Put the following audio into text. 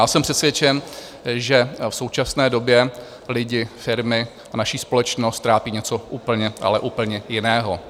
Já jsem přesvědčen, že v současné době lidi, firmy a naši společnost trápí něco úplně, ale úplně jiného.